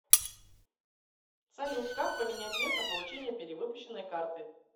салют как поменять место получения перевыпущенной карты